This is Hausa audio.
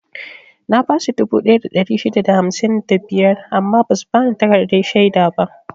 Na basu dubu ɗaya da ɗari shida da hamsin da biyar amma basu bani takardar shaida ba.